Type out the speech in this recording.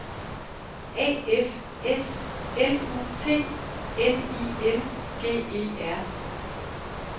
A F S L U T N I N G E R